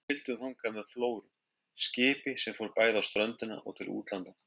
Við sigldum þangað með Flóru, skipi sem fór bæði á ströndina og til útlanda.